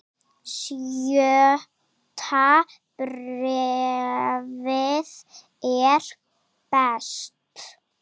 Sjötta bréfið er best.